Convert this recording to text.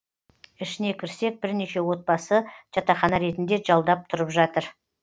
ішіне кірсек бірнеше отбасы жатақхана ретінде жалдап тұрып жатыр